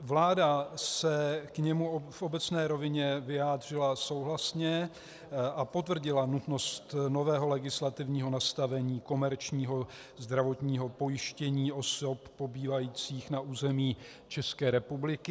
Vláda se k němu v obecné rovině vyjádřila souhlasně a potvrdila nutnost nového legislativního nastavení komerčního zdravotního pojištění osob pobývajících na území České republiky.